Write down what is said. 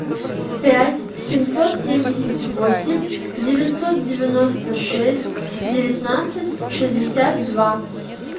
пять семьсот семьдесят восемь девятьсот девяносто шесть девятнадцать шестьдесят два